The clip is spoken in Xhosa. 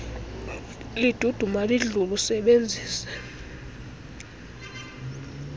liduduma lidlule usebenzise